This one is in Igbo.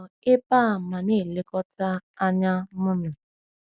Nọ ebe a ma na-elekọta anya mụna.